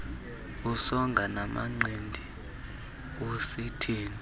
usonga namanqindi usithini